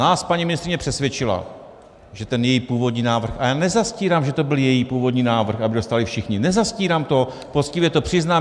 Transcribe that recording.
Nás paní ministryně přesvědčila, že ten její původní návrh, a já nezastírám, že to byl její původní návrh, aby dostali všichni, nezastírám to, poctivě to přiznám.